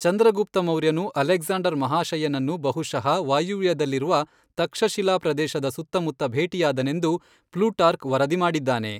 ಚಂದ್ರಗುಪ್ತ ಮೌರ್ಯನು ಅಲೆಕ್ಸಾಂಡರ್ ಮಹಾಶಯನನ್ನು ಬಹುಶಃ ವಾಯವ್ಯದಲ್ಲಿರುವ ತಕ್ಷಶಿಲಾ ಪ್ರದೇಶದ ಸುತ್ತಮುತ್ತ ಭೇಟಿಯಾದನೆಂದು ಪ್ಲೂಟಾರ್ಕ್ ವರದಿ ಮಾಡಿದ್ದಾನೆ.